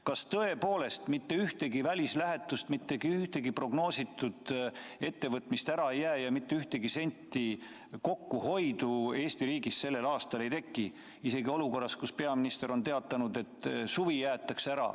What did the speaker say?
Kas tõepoolest mitte ühtegi välislähetust, mitte ühtegi prognoositud ettevõtmist ära ei jää ja mitte ühtegi senti kokkuhoidu Eesti riigis sellel aastal ei teki, isegi mitte olukorras, kus peaminister on teatanud, et suvi jäetakse ära?